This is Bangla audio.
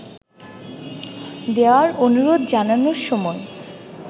দেওয়ার অনুরোধ জানানোর সময়